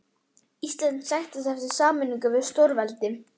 Ísland sækist eftir sameiningu við stórveldi.